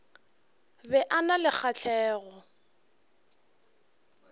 be a na le kgahlego